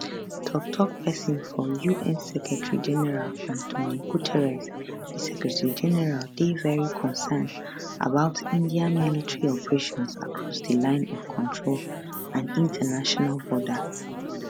tok tok pesin for un secretarygeneral antonio guterres di secretarygeneral dey very concerned about india military operations across di line of control and international border